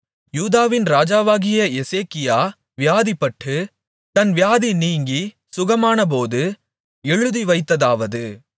யூதாவின் ராஜாவாகிய எசேக்கியா வியாதிப்பட்டு தன் வியாதி நீங்கி சுகமாமானபோது எழுதிவைத்ததாவது